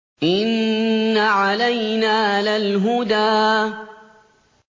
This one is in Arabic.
إِنَّ عَلَيْنَا لَلْهُدَىٰ